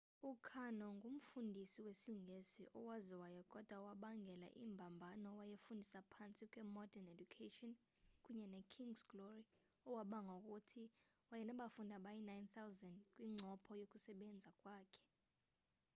ukarno ngumfundisi wesingesi owaziwayo kodwa owabangela imbambano owayefundisa phantsi kwe-modern education kunye ne-king's glory owabanga ngokuthi wayenabafundi abayi-9,000 kwincopho yokusebenza kwakhe